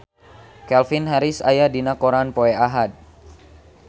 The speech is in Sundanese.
Calvin Harris aya dina koran poe Ahad